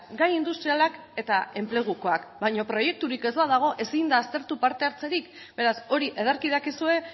gai industrialak eta enplegukoak baina proiekturik ez badago ezin da aztertu parte hartzerik beraz hori ederki dakizue